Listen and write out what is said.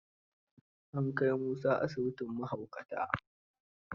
An kai Musa asibitin mahaukata.